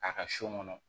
A ka so kɔnɔ